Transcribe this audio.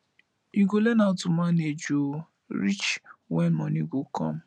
you go learn how to manage o reach wen moni go come